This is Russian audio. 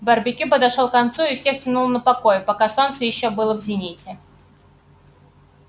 барбекю подошёл к концу и всех тянуло на покой пока солнце было ещё в зените